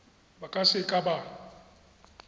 ba ka se ka ba